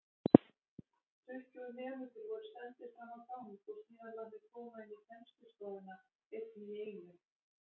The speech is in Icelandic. Tuttugu nemendur voru sendir framá gang og síðan látnir koma inní kennslustofuna einn í einu.